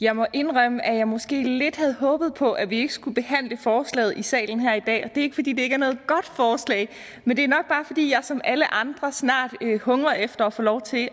jeg må indrømme at jeg måske lidt havde håbet på at vi ikke skulle behandle forslaget i salen her i dag og det er ikke fordi det ikke er noget godt forslag men det er nok bare fordi jeg som alle andre snart hungrer efter at få lov til